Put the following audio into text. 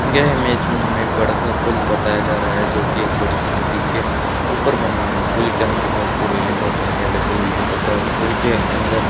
यह इमेज में हमे एक बड़ा सा पुल बताया जा रहा है जो की एक बड़ी सी नदी के ऊपर बना हुआ है पुल के अंदर बहोत सी रेलिंग और जालिया लगी हुई है तथा पुल के अंदर --